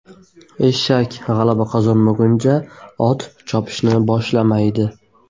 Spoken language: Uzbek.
Eshak g‘alaba qozonmaguncha, ot chopishni boshlamaydi.